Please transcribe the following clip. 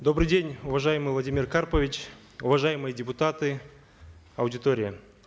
добрый день уважаемый владимир карпович уважаемые депутаты аудитория